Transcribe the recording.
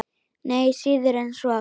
Nei, síður en svo.